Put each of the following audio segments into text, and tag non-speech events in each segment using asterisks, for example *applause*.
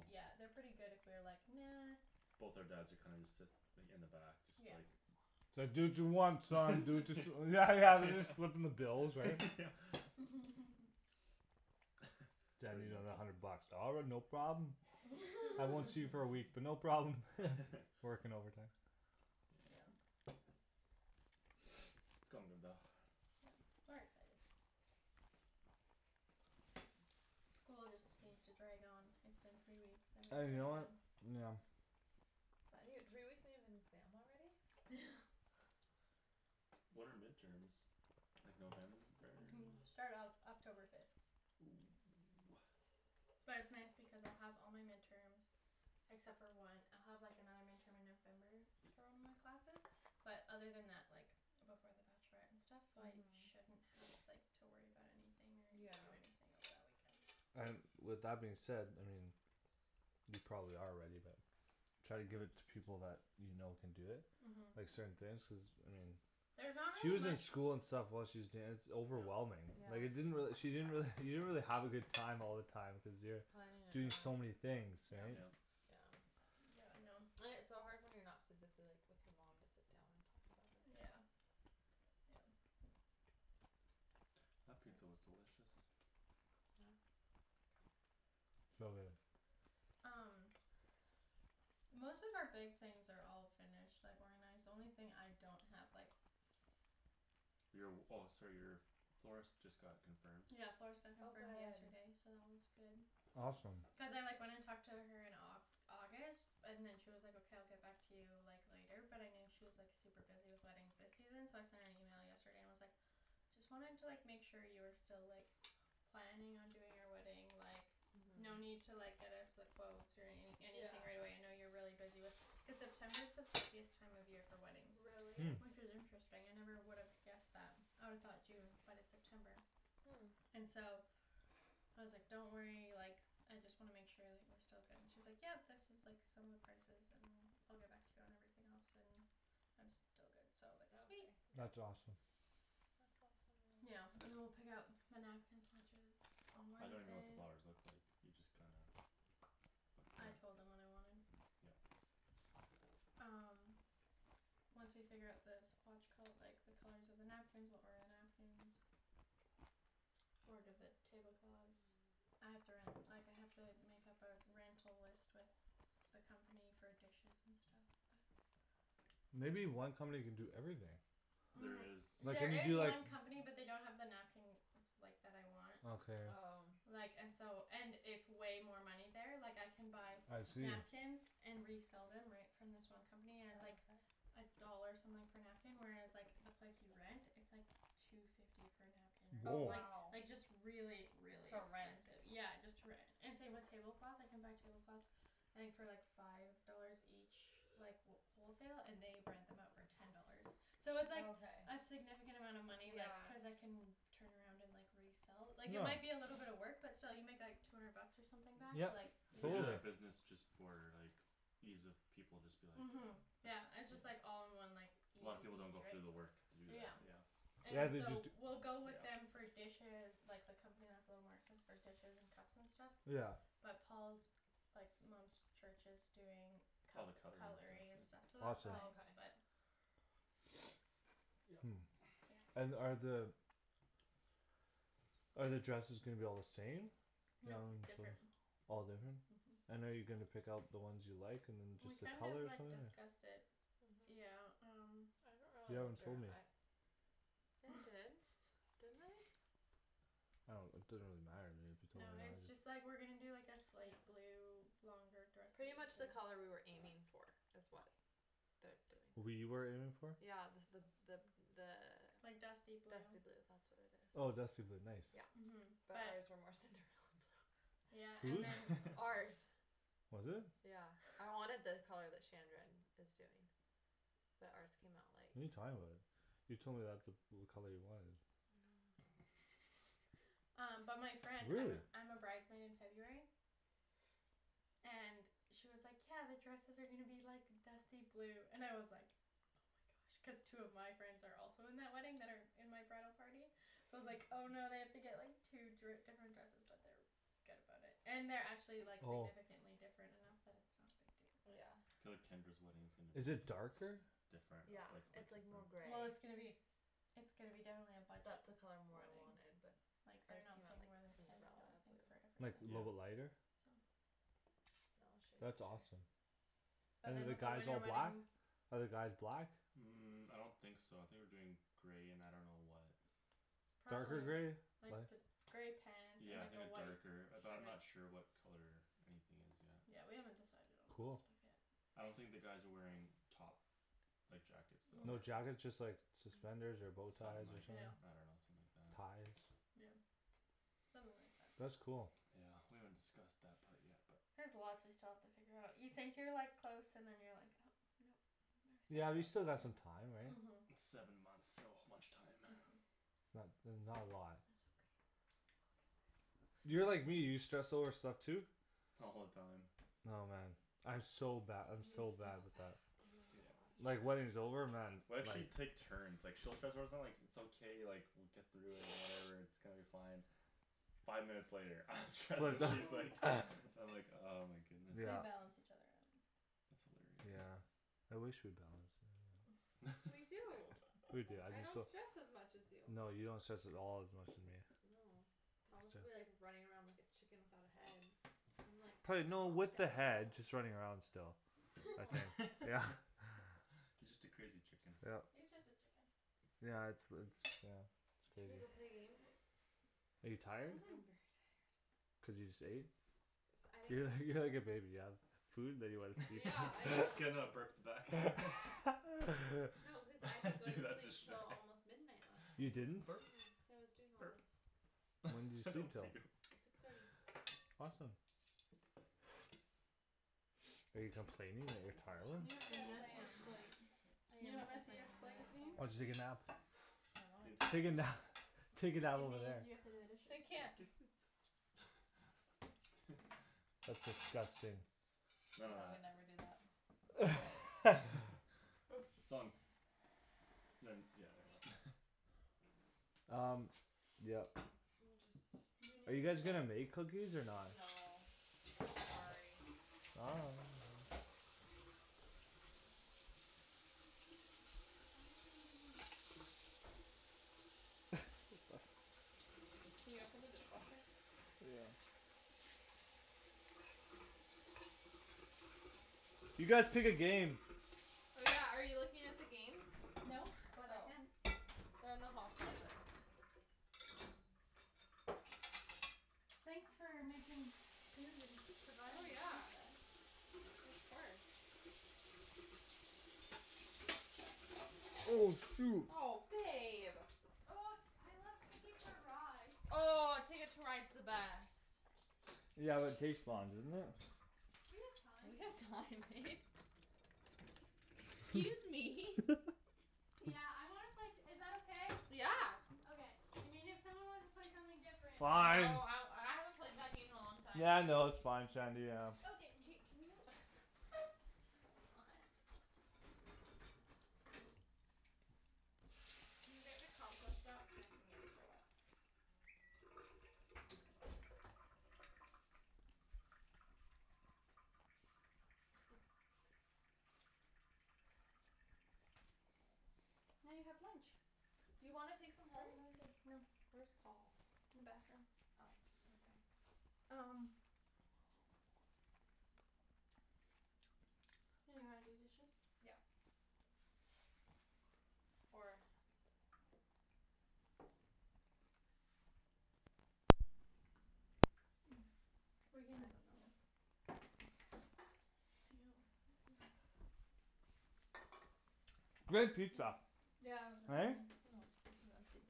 yeah they're pretty good if we're like "nah" both our dads are kinda just sit like in the back just yeah like its like do what you want son do whats *laughs* yeah yeah yeah they're just footing the bill yeah right *laughs* yeah *laughs* *laughs* daddy I pretty need much another hundred bucks "all right no problem" *laughs* I won't see you for a week *laughs* *laughs* but no problem *laughs* *laughs* working overtime yeah *noise* *noise* its coming about yep we're excited school just seems to drag on it's been three weeks and you and we're *inaudible* know done what yeah you n- three weeks and you have an exam already *noise* when are midterms like November *laughs* it start Oc- October fifth oh ah but it's nice because I'll have all my midterms except for one I'll have like another midterm *noise* in November for one of my classes but other than that like before the bachelorette and stuff so I uh-huh shouldn't have *noise* *noise* like to *noise* worry about anything or do anything over yeah that weekend so and with that being said I mean you probably are ready but try to give it to people that you know can do it like uh-huh certain things cuz I mean there's not she really was in much school and stuff while she was danc- overwhelming like it yeah didn't really she didn't really you didn't really have a good time all the time cuz you're planning it and doing all so many things right yeah yep yeah yeah I know and its so hard when you're not physically like with your mom to sit down and talk about everything yeah yeah that pizza was yeah delicious yeah so good um most of our big things are all finished like organized the only thing I don't have like your w- oh sorry your florist just got confirmed yeah florist got oh confirmed good yesterday so that one's good awesome cuz I like went and talked to her in like Au- August and then she was like okay I'll get back to you like later but I knew she was like super busy with weddings this season so I sent an email yesterday and was like just wanting to like make sure you were still like planning on doing our wedding like no uh-huh need to like get us the quotes or any yeah anything right away I know you're really busy with cuz September is the busiest time of year for weddings really hm which is interesting I never would have guessed that I'd've thought June but it's September hm and so I was like don't worry like I just wanna make sure like we're still good and she's like yep this is like some of the prices and I'll get back to you on everything else and I'm still but good okay so like sweet that's awesome really yeah and then we'll pick out the napkin swatches on I don't even know what the Wednesday flowers look like you just kinda *noise* I with the told them what I wanted yup um once we figure out the swatch col- like the colors of the napkins we'll order the napkins order the tablecloths I have to ren- like I have to make up our rental list with the company for dishes and stuff but maybe one company can do everything there is um like when there you is do like one company but they don't have the napkins like that I want okay oh like and so and it's way more money there like I can buy I see napkins and resell them right from this one company and its oh like okay a dollar something per napkin whereas like the place you rent it's like two fifty per napkin or some- oh or woah like wow like just really really to rent expensive yeah just to rent and same with tablecloths I can buy tablecloths I think for like five dollars each like wh- wholesale and they rent them out for ten dollars so oh it's like okay a significant amount of money like yeah cuz I can turn around and like resell like it yeah might be a little bit of work *noise* but still you make like two hundred bucks or something back yep like they do totally yeah yeah that business just for like ease of people just be like uh-huh *inaudible* yeah yeah it's just like all in one like A lot of people easy don't go through the peasy work to do that right yeah yeah and yeah they just so d- we'll go with them yeah for dishes like the company that's a little more expensive for dishes and cups and stuff yeah but Paul's like mom's church is doing all the cut- cutlery and cutlery and stuff stuff yeah awesome so oh okay that's nice but *noise* *noise* hm and are the are the dresses gonna be all the same? nope different *inaudible* all different uh-huh and are you gonna pick out the ones you like and then we just the kind of colors or like something discussed it yeah uh-huh um you haven't told me I did didn't I *noise* I don't it doesn't really matter to me you no told me it's or just like not we're gonna do like a slate yeah blue longer dresses pretty much the *inaudible* color we were aiming for is what their doing we were aiming for? yeah the the the like dusty the blue dusty blue that's what it is oh dusty blue nice yeah uh-huh but but ours were more Cinderella *laughs* blue yeah who's? and then *laughs* ours was it? yeah I wanted the color that Shandryn is doing but ours came out like what're you talking about you told me that's the blue color you wanted no *laughs* um but my friend I'm really? a I'm a bride's maid in it's okay February *noise* and she was like "yeah the dresses are gonna be like dusty blue" and I was like oh my gosh cuz two of my friends are also in that wedding that are in my bridal party so I was like "oh no I have *laughs* to like get two dri- different dresses" but they're good about it and they're actually like oh significantly different enough that it's not a big deal but yeah yeah I feel like Tendra's wedding is gonna be is it darker? different yeah ah like quit it's like more different gray well it's gonna be it's gonna be definitely a budget that's the color more I wedding wanted but like they're ours not came out paying like more than ten I don't Cinderella think for blue like a yeah little bit everything I lighter think so no I'll show that's you a awesome picture but and then than the with a guys winter all black ? wedding are the guys black? um I don't think so I think we're doing gray and I don't know what darker gray probably like light th- gray pants and yeah I like think a a white darker shirt but I'm not sure what color anything is yet yeah we haven't decided on all that cool stuff yet I don't think *noise* the *noise* guys are wearing top like jackets though no no *noise* jackets just like suspenders *noise* or bowties something or like something yeah I don't know something like that ties yeah something like that *noise* that's cool yeah we haven't discussed that part yet but there's lots we still have to figure out you think you're like close and then you're like oh no yeah you there's still still got lots some *inaudible* time right? uh-huh seven months so much time uh-huh it's not that's not a lot that's okay we'll get there you're like me you stress over stuff too? all the time oh man I'm so bad I'm he's so so bad bad with oh that yeah my God like wedding's over man we like actually take turns like she'll stress out about like its okay like we'll get through it and whatever *noise* its *noise* gonna be fine five minutes later I'm stressed she's *inaudible* like *laughs* *laughs* I'm like oh my goodness we yeah balance each other out that's hilarious yeah I wish we *noise* balanced *inaudible* we *laughs* do we do I'm I *laughs* just don't so stress as much as you no you don't stress at all as much as me no *inaudible* Thomas'll be like running around like a chicken without a head I'm like pla- calm no down with the head just running around still *noise* no okay *laughs* yeah you just a crazy chicken yup yeah its the its yeah its should we go crazy play a game are you I'm tired very uh-huh tired cuz you just ate cuz I didn't you're like go you're like a baby you've food then you wanna sleep yeah I *laughs* can uh now burp the back *laughs* *laughs* no cause I didn't go to *laughs* sleep till almost *inaudible* midnight last you night didn't? burp *inaudible* cuz I was doing all burp this when did you *laughs* sleep don't till? puke six thirty awesome *noise* are you complaining that you're *noise* you go tired have to the yes the I am messiest washroom plates *noise* I you am know what complaining messiest plate very oh did means? hard you take a nap I means wanted to take a this nap *laughs* take It a nap over there means you have to do the I dishes can't *inaudible* *laughs* that's disgusting none of yeah we that never do that *laughs* its *laughs* on ne- yeah never mind laughs] um yup we'll just are you guys gonna *inaudible* make cookies or not? no sorry *noise* why are you running away? *laughs* can you open the dishwasher yeah you guys pick a game oh yeah are you looking at the games no but I oh can they're in the hall closet thanks for making food and oh providing food yeah guys of course oh shoot oh babe oh I like TIcket to Ride oh Ticket to Ride's the best yeah but it takes long doesn't it we have time we have time babe excuse me *laughs* yeah I wanna play t- is that okay? yeah okay I mean if someone wants to play something different oh fine I I haven't played that game in a long time yeah no its fine Shandy yeah okay k can you *laughs* what *laughs* can you get the compost out *inaudible* *laughs* *noise* now you have lunch do you wanna take some for home? another day no where's Paul? in the bathroom oh okay um yeah you wanna do dishes? yeah or *noise* we're I don't know *inaudible* yo *noise* that *inaudible* great pizza yeah it was right? really oh *inaudible* this is empty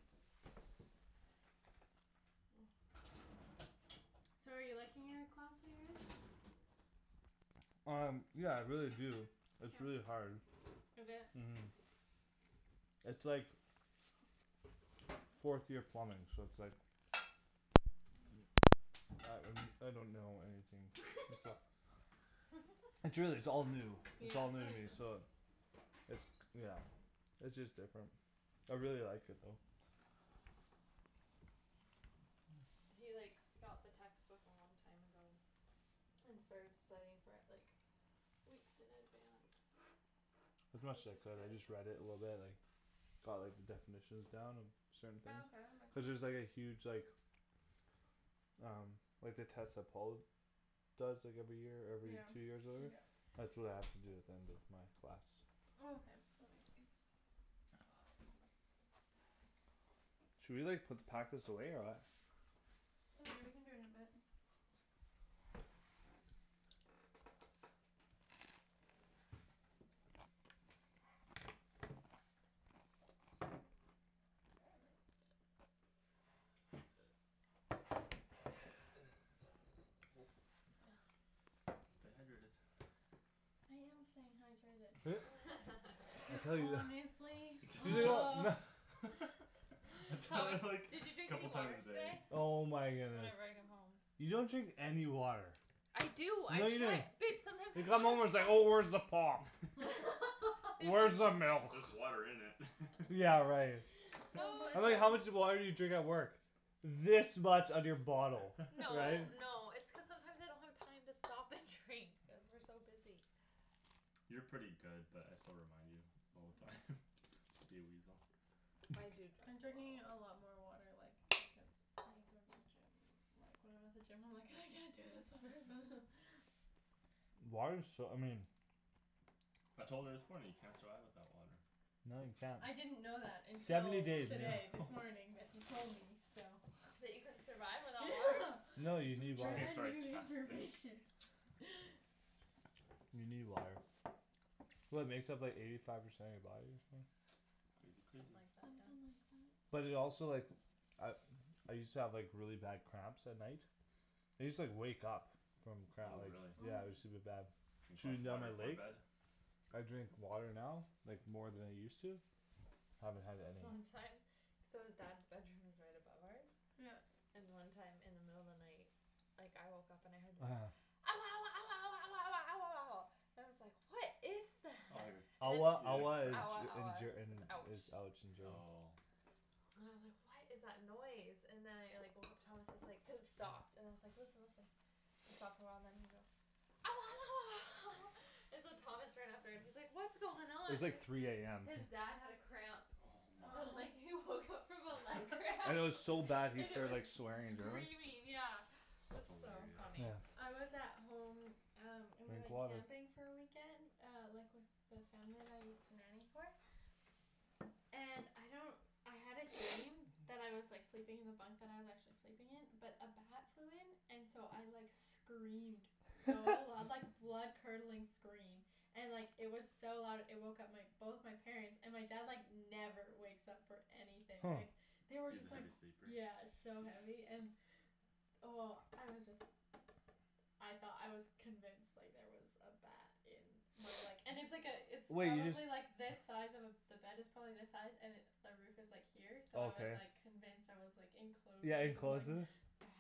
so are you liking your class that you're in? um yeah I really do its really hard is it? uh-huh its like fourth year plumbing so its like I I don't know anything its a *laughs* *laughs* its really its all new yeah its all new that to makes me sense so its yeah its just different I really like it though He like got the textbook a long time ago and started studying for it like weeks in advance *inaudible* which is I good just read it a little bit like got like the definitions down and certain things oh okay that cuz there's makes like a sense huge like um like the test that Paul does like every year or yeah every two years or whatever yeah *noise* that's what I have to do at the end of my class oh okay that makes sense should we like put pack this away or what oh yeah we can do it in a bit *noise* stay hydrated *noise* *laughs* *laughs* you I tell you wh- *laughs* *inaudible* oh *inaudible* *laughs* I *noise* Paul tell Paul her is like did "did you you drink drink any couple any a time water water a today? day today?" oh my goodness whenever I come home you don't drink any water I do I no you don't try babe you come home its sometimes like oh where's the I *inaudible* pop *laughs* *laughs* babe there's where's the just just milk there's water in it *laughs* yeah right *noise* oh no I was my like how much it's gosh just water did you drink at work this much of your bottle no right *laughs* no it's cuz sometimes I don't have time to stop and drink cuz we're so busy you're pretty good but I still remind you all the time just to be a weasel I do I'm drink drinking *inaudible* a lot more like because I go to the gym like when I'm at the gym I'm like "I can't do this water" *laughs* water's so I mean I told her this morning you can't survive without water No you can't I didn't know that until seventy days today this morning *laughs* that he told me so that you couldn't survive without water *laughs* no you need water brand new *inaudible* information *noise* you need water well it makes up like eighty five percent of you body or something crazy something crazy like that something yeah like that but it also like I I used to have like really bad cramps at night I used to like wake up from cramp oh really yeah it use to be oh bad drink lots shooting a down water my before leg bed I drink water now like more than I use to haven't had any long time so his dad's bedroom is right above ours yup and one time in the middle of the night like I woke up and I heard this oh yeah ouah ouah ouah ouah ouah ouah ouah ouah ouah and I was like what is oh you're that and then ouah he ouah is had ouah cramps Ger in ouah Ger in is is ouch ouch in German oh and I was like what is that noise and then I like woke up Thomas is like cuz it stopped and then I was like listen listen it stopped *noise* a while and then he goes ouah ouah ouah *laughs* and so Thomas ran up there and he's like what's going it on was like three am his dad had a cramp oh my and like oh he woke up *laughs* from a leg cramp *laughs* and and it it was was *laughs* so bad he and it started like was swearing in German screaming yeah it was that's so hilarious funny yeah I was *noise* at home um and we drink went water camping for a weekend uh like with the family that I used to nanny for and I don't I had a dream *noise* *noise* that I was like sleeping in the bunkbed I was actually sleeping in but a bat flew in and so I like screamed so loud like *laughs* *laughs* blood curdling scream and it was like so loud it woke up my both my parents and my dad like never wakes up for anything huh like they were he's a just like heavy sleeper yeah so *noise* heavy and oh I was just I thought I was convinced like there was a bat in my *noise* like *noise* *noise* and it's like a it's wait you just probably like this size of a the bed is probably this size and it the roof is like here so I was okay like convinced I was like enclosed yeah enclosed with with the it ba-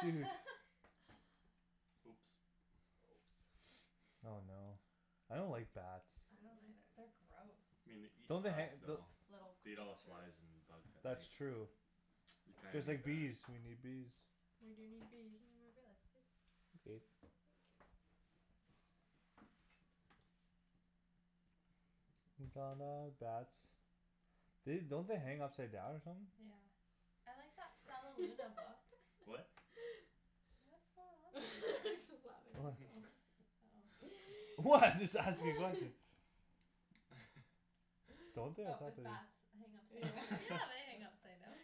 shoot *laughs* oops oh no I don't like bats uh- uh they're gross me nei- don't they han- *inaudible* don- though little beat all creatures flys and bugs at that's night true you kinda just need like bees that we need bees we do need can you bees move your legs please thank you *inaudible* bats they don't they hang upside down or something yeah I like that Stellaluna book what *laughs* what's going on over there? what oh *laughs* what I'm just asking nothing *laughs* *laughs* don't they I but thought with they bats hang upside yeah *laughs* down yeah they *laughs* hang upside down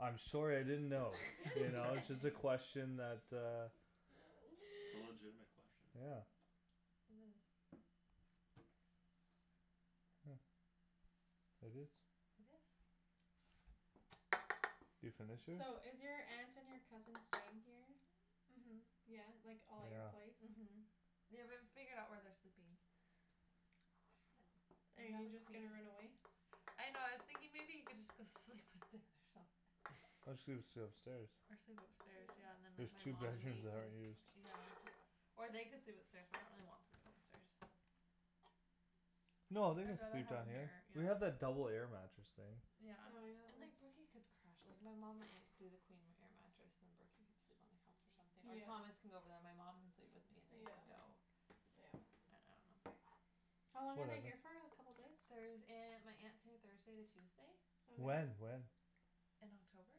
I'm sorry I didn't know you its know it's *laughs* just a okay *laughs* *laughs* question that uh it's a legitimate *noise* question yeah it is huh it is it is you finish it? so is your aunt and your cousin staying here then? uh-huh yeah like all at your yeah place uh-huh they w- haven't figured out where they're sleeping are you just gonna run *inaudible* away? I know I was thinking maybe he could just go sleep with Dan or something Or just *laughs* sle- sleep upstairs or sleep upstairs yeah yeah and then there's like my two mom and bedrooms me that can aren't used yeah or they could sleep upstairs but I really don't want people upstairs no they can I'd rather sleep have down them here here yeah we have that double air mattress thing yeah oh yeah and there's like Brooky could crash like my mom my aunt could do the queen air mattress and then Brooky could sleep on the couch or something or Thomas yeah could go over there and my mom could sleep with me and they can yeah go yeah I I don't know how long are they whatever here for a couple days? Thurs- aunt my aunt's here Thursday to Tuesday when okay when in October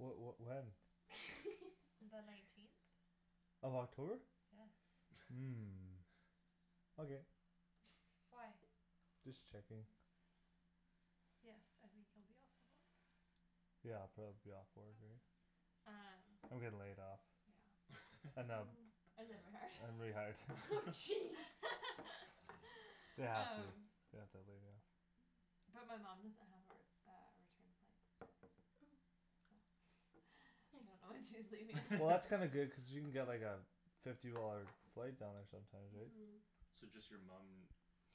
wha- what when *laughs* the nineteenth of October yes huh *laughs* okay why just checking yes I think you'll be off the *inaudible* yeah I'll probably be off work right um I'm getting laid off yeah and them ooh *laughs* and then rehired and *laughs* rehired *laughs* *laughs* jeez they *laughs* have to um they have to lay me off but my mom doesn't have her uh a return flight oh so *noise* I don't nice know when she's leaving well that's kinda good *laughs* cause she can get like a fifty dollar flight down there sometimes right uh-huh so just your mum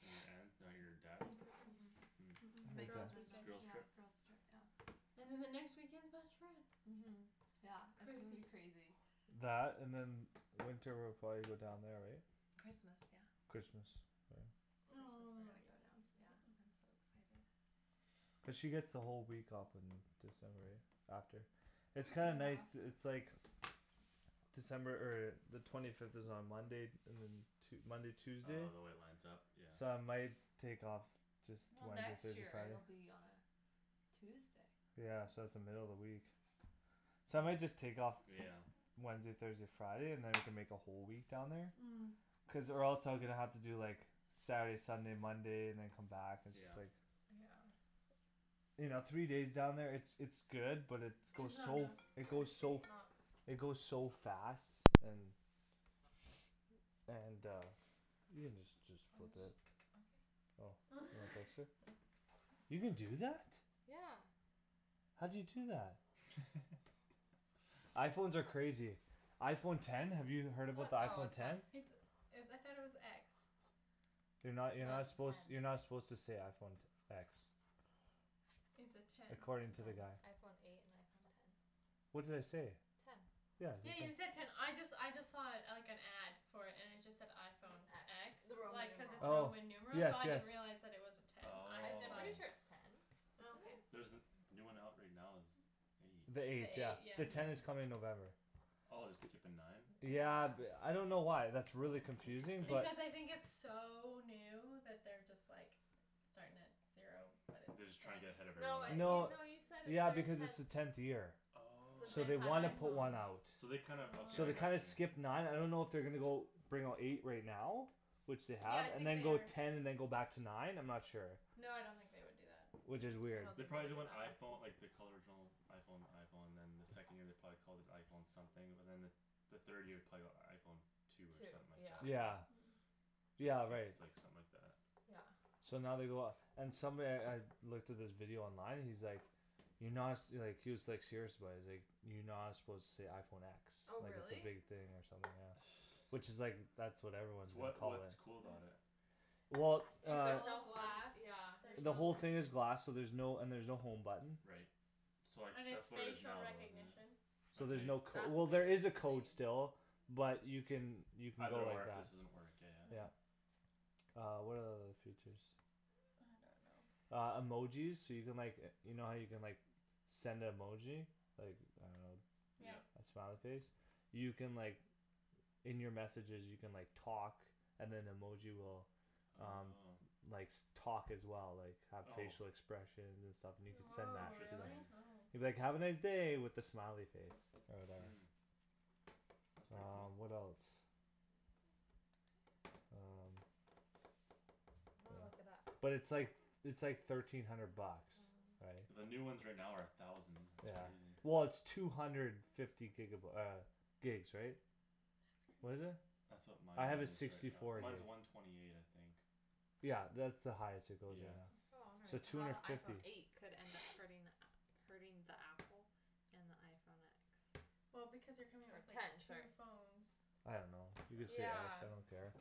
and your aunt not your dad uh- uh huh girls' *inaudible* it's a *inaudible* weekend girls' yeah trip girls' trip yeah and then the next weekend's bachelorette uh-huh yeah it's gonna be crazy crazy that and then winter we'll probably go down there right Christmas yeah Christmas *inaudible* oh yeah I'm *inaudible* so excited cuz she get's the whole week off in December yeah after a it's week kinda and a nice half to it's like December er the twenty fifth is on Monday and then Tue- Monday Tuesday oh the way it lines up yeah so I might take off just well Wednesday next Thursday year it'll Friday be on Tuesday yeah so its the middle of the week so I might *noise* just take off yeah Wednesday Thursday Friday and then we can make a whole week down there hm cuz or else I'm gonna have to do like Saturday Sunday Monday and then come back and just yeah like yeah you know three days down there it's it's good but its it's goes not so f- enough it goes so *noise* it goes so fast and and uh you can just just I was just flip it okay oh *inaudible* *laughs* you can do that? yeah how'd you do that? *laughs* iPhones are crazy iPhone ten have you heard about the *inaudible* oh iPhone ten ten it's is I though it was x you're no no you're not its a suppose ten you're not suppose to say iPhone te- x its a ten according ten to the guy iPhone eight and iPhone ten what did I say ten yeah you ten said ten I just I just saw it like an ad for it and it just said iPhone X x the Roman like cuz numeral its oh Roman numeral yes so I yes didn't realize it was a ten I I just I'm thought pretty sure it it's oh ten oh okay isn't it there's the the new one out right now is eight the the the eight eight yeah eight the yeah yeah ten yeah is coming in November oh they're skippin nine yeah yeah th- f I don't know why that's really oh confusing but interesting because I think its so new that they're just like starting at zero but they're it's just ten trying to get ahead of no it- you everyone no else no *inaudible* you said yeah it's because its the their tenth tenth year since so oh they've they had wanna oh put one out iPhones so they kinda okay so I they kinda got oh you skip nine I don't know if they're gonna go bring out eight right now which they yeah have I and think then they go are ten and then go back to nine I'm not sure no I don't think they would do that which is I weird don't they think probably they'd did do when that iPhone like they called the original iPhone the iPhone and then the second year they probably called it iPhone something but then the the third year probably got iPhone two or two something like that yeah yeah *noise* yeah just right skipped like something like that yeah so now they go off and somebody I looked at this video online and he's like you're not su- like he was like serious about it he's like you're not suppose to say iPhone x oh like its a really big thing or something yeah which *noise* is like that's what everyone is so gonna what's call it what's cool about it? well it's uh all glass yeah there's the whole no thing is glass so there's no and there's no home button right so like and its that's what it is facial now isn't recognition it so there's okay no cod- that's well there weird is a to me code still but you can you can go either or like if that this doesn't work yeah yeah yeah uh what are the other features I don't know I don't know uh emojis so you can like e- you know how you can like send a emoji like I don't yeah yeah know a smiley face you can like In your messages you can like talk and then emoji will um oh likes talk as well like have oh facial expressions and stuff and you can send woah that to them really interesting oh you can be like "have a nice day" with a smiley face or whatever hm that's pretty um cool what else um I'm gonna look it up yeah but its like its like thirteen hundred bucks right the new ones right now are a thousand yeah that's crazy well its two hundred fifty giga by- uh gigs right that's that's what is crazy crazy it that's what mine I have a is right sixty now four gig mine's a one twenty eight I think yeah that's the highest it goes right yeah now *inaudible* so two how the hundred iPhone fifty eight could end up *noise* hurting the *noise* app hurting the apple and the iPhone x well because they're coming out or with like ten two sorry phones I don't know you can say x yeah I don't care